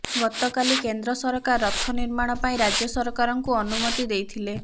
ଗତକାଲି କେନ୍ଦ୍ର ସରକାର ରଥ ନିର୍ମାଣ ପାଇଁ ରାଜ୍ୟ ସରକାରଙ୍କୁ ଅନୁମତି ଦେଇଥିଲେ